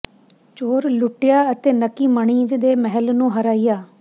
ਚੋਰ ਲੁੱਟਿਆ ਅਤੇ ਨੱਕੀ ਮਣੀਜ ਦੇ ਮਹਿਲ ਨੂੰ ਹਰਾਇਆ